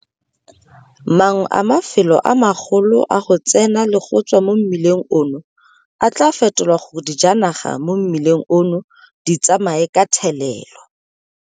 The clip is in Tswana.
Mangwe a mafelo a magolo a go tsena le go tswa mo mmileng ono a tla fetolwa gore dijanaga mo mmileng ono di tsamaye ka thelelo.